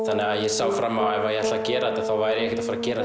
þannig að ég sá fram á að ef ég ætlaði að gera þetta væri ég ekki að fara að gera